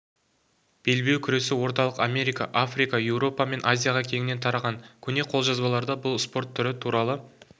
белбеу күресі орталық америка африка еуропа мен азияға кеңінен тараған көне қолжазбаларда бұл спорт түрі туралы